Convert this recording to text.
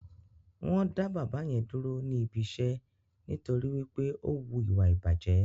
Wọ́n dá bàbá yẹn dúró níbi iṣẹ́ nítorí wí pé ó wu ìwà ìbàjẹ́